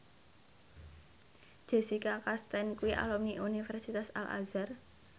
Jessica Chastain kuwi alumni Universitas Al Azhar